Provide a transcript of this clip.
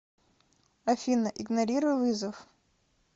афина игнорируй вызов